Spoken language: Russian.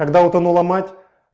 когда утонула мать